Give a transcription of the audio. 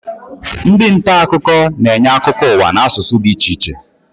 Ndị nta akụkọ na-enye akụkọ ụwa n'asụsụ dị iche iche